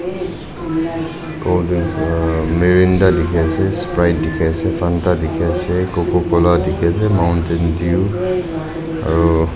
cold drinks para marinda likhi ase sprite dikhi ase fanta dikhi ase cococola dikhi ase mountain due aru--